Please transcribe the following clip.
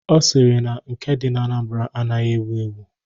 Ọ sịrị na nke dị na Anambra anaghị ewu ewu..